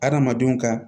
Adamadenw ka